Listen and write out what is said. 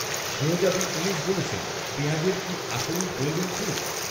শেহজাদী উনিশ বলেছেন, পেঁয়াজের কি আসলেই প্রয়োজন খুব